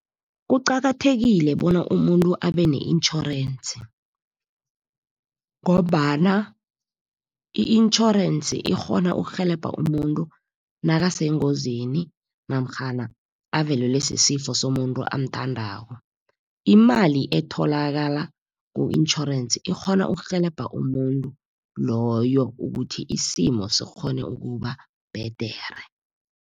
Kuqakathekile bona umuntu abe ne-intjhorensi ngombana i-intjhorensi ikghona ukurhelebha umuntu nakasengozini, namtjhana avelelwe sisifo somuntu amthandako. Imali etholakala ku-intjhorensi, ikghona ukurhelebha umuntu loyo, ukuthi isimo sikghone ukuba bhedere.